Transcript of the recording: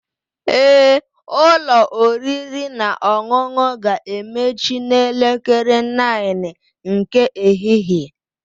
Ee, ụlọ oriri na ọṅụṅụ ga-emechi n'elekere 9:00 nke ehihie